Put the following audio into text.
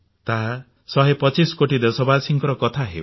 ତାହା ଶହେ ପଚିଶ କୋଟି ଦେଶବାସୀଙ୍କ କଥା ହେଉ